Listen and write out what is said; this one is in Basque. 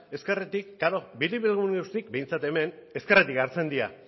ezkerretik klaro biribilgune guztiak behintzat hemen ezkerretik hartzen dira